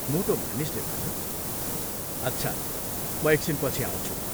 " मोटो मानिसले भन्यो, " अच्छा, म एकछिनपछि आउँछु।